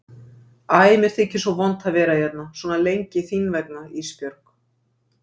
Æ mér þykir svo vont að vera hérna svona lengi þín vegna Ísbjörg.